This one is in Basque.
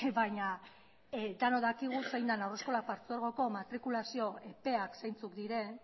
baina denok dakigu zein den haurreskola partzuergoko matrikulazio epeak zeintzuk diren